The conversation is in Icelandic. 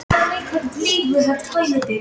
Þetta er ekkert flókið